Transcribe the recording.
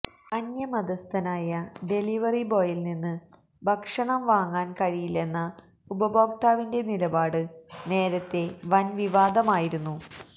അന്യമതസ്ഥനായ delivery ബോയിൽ നിന്ന് ഭക്ഷണം വാങ്ങാൻ കഴിയില്ലെന്ന ഉപഭോക്താവിന്റെ നിലപാട് നേരത്തെ വൻവിവാദമായിരുന്നു